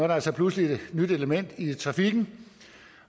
der altså pludselig et nyt element i trafikken